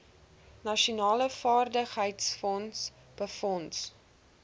nasionale vaardigheidsfonds befonds